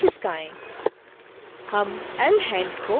हम lhand को इसी तरह एनीमेट करेंगे